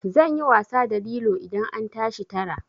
Zan yi wasa da lilo idan an tashi tara.